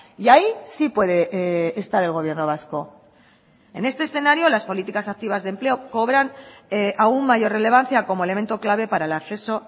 y ahí sí puede estar el gobierno vasco en este escenario las políticas activas de empleo cobran aún mayor relevancia como elemento clave para el acceso